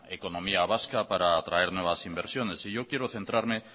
economía vasca para traer nuevas inversiones y yo quiero centrarme